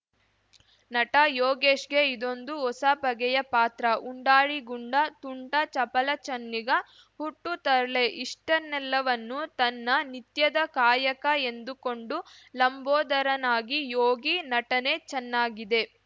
ನಟ ಯೋಗೇಶ್‌ಗೆ ಇದೊಂದು ಹೊಸ ಬಗೆಯ ಪಾತ್ರ ಉಂಡಾಡಿ ಗುಂಡ ತುಂಟ ಚಪಲ ಚೆನ್ನಿಗ ಹುಟ್ಟು ತರ್ಲೆ ಇಷ್ಟನ್ನೆಲ್ಲವನ್ನು ತನ್ನ ನಿತ್ಯದ ಕಾಯಕ ಎಂದು ಕೊಂಡು ಲಂಬೋದರನಾಗಿ ಯೋಗಿ ನಟನೆ ಚೆನ್ನಾಗಿದೆ